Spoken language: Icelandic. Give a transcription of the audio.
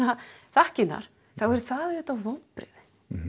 þakkirnar þá er það auðvitað vonbrigði